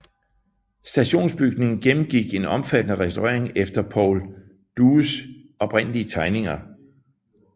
Stationsbygningen gennemgik en omfattende restaurering efter Paul Dues oprindelige tegninger